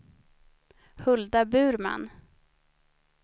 Hulda Burman